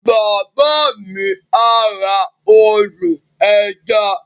Bàbá mi á ra ọdọ̀-ẹja